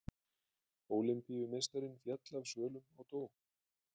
Ólympíumeistarinn féll af svölum og dó